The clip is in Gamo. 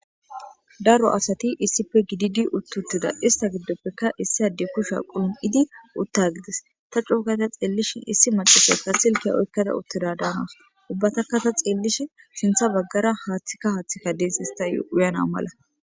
daro asati issippe gididi uttuttida ista giddoppeka issi ade kusha qulum7idi utta gides ta cuokata xeellishin issi macifekka silkiya oykkada uttida daamas ubbataka ta xeellishi sintha baggara haaththikka haaththikka dees istauyana mala